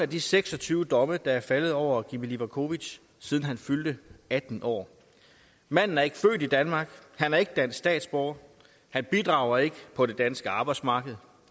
de seks og tyve domme der er faldet over gimi levakovic siden han fyldte atten år manden er ikke født i danmark han er ikke dansk statsborger han bidrager ikke på det danske arbejdsmarked